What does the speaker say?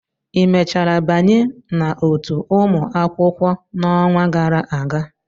ị mechara banye n'otu ụmụ akwụkwọ n'ọnwa gara aga?